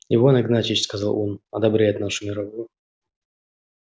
иван игнатьич сказал он одобряет нашу мировую